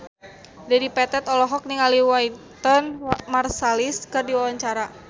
Dedi Petet olohok ningali Wynton Marsalis keur diwawancara